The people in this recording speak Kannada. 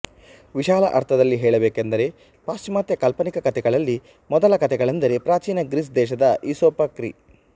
ವಿಶಾಲ ಅರ್ಥದಲ್ಲಿ ಹೇಳಬೇಕೆಂದರೆ ಪಾಶ್ಚಿಮಾತ್ಯ ಕಾಲ್ಪನಿಕ ಕಥೆಗಳಲ್ಲಿ ಮೊದಲ ಕಥೆಗಳೆಂದರೆ ಪ್ರಾಚೀನ ಗ್ರೀಸ್ ದೇಶದ ಈಸೋಪ ಕ್ರಿ